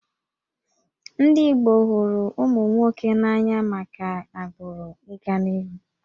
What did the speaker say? Ndị Igbo hụrụ ụmụ nwoke n'anya maka agbụrụ ị ga n'ihu